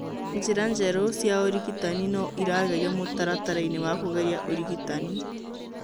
Njĩra njerũ cia ũrigitani no iragerio mũtaratara-inĩ wa kũgeria ũrigitani.